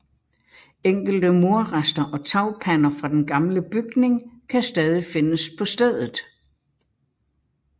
Enkelte murrester og tagpander fra den gamle bygning kan stadig findes på stedet